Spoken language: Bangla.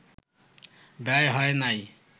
ব্যয় হয় নাই